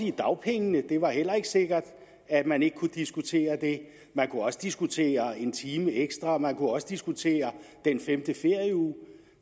i dagpengene det var heller ikke sikkert at man ikke kunne diskutere det man kunne også diskutere en time ekstra man kunne også diskutere den femte ferieuge